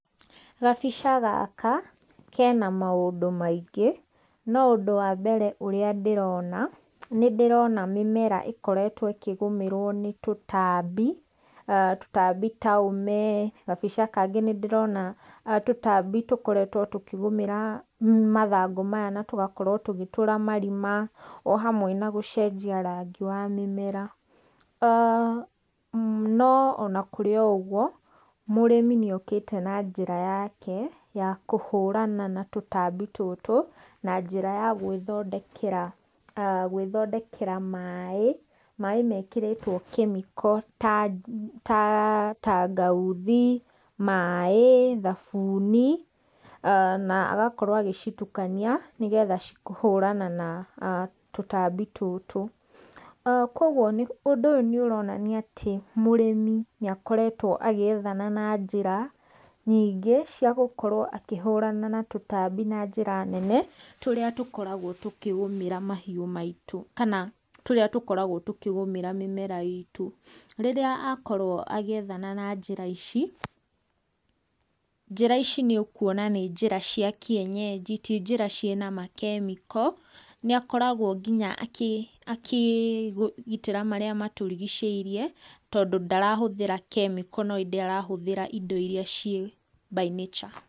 Gabica gaka, kena maũndũ maingĩ, no ũndũ wa mbere ũrĩa ndĩrona, nĩ ndĩrona mĩmera ĩkoretwo ĩkĩgũmĩrwo nĩ tũtambi, tũtambi ta ũme. Gabica kangĩ ndĩrona tũtambi tũkoretwo tũkĩgũmĩra mathangũ maya na tũgakorwo tũgĩtũra marima o hamwe na gũcenjia rangi wa mĩmera. No ona kũrĩ o ũguo, mũrĩmi nĩ okĩte na njĩra yake ya kũhũrana na tũtambi tũtũ na njĩra ya gwĩthondekera, gwĩthodekera maaĩ mekĩrĩtwo kemiko ta tangauthi, maaĩ, thabuni na agakorwo agĩcitukania nĩgetha kũhũrana na tũtambi tũtũ. Koguo ũndũ ũyũ nĩ ũronania atĩ mũrĩmi nĩ akoretwo agĩethana na njĩra nyingĩ cia gũkorwo akĩhũrana na tũtambi na njĩra nene tũrĩa tũkoragwo tũkĩgũmĩra mahiũ maitũ kana tũkĩgũmĩra mĩmera itũ. Rĩrĩa akorwo agĩethana na njĩra ici njĩra ici nĩ ũkuona nĩ njĩra cia kĩenyenji ti njĩra ciĩna makemiko, nĩ akoragwo nginya akĩ, akĩgitĩra marĩa matũrigicĩirie tondũ ndarahũthĩra kemiko no ĩndĩ arahũthĩra indo iria ciĩ by nature.